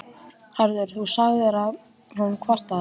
Haraldur, sagði hún kvartandi.